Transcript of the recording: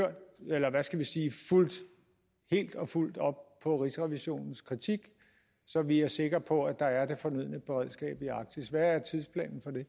fulgt helt og fuldt op på rigsrevisionens kritik så vi er sikre på at der er det fornødne beredskab i arktis hvad er tidsplanen for det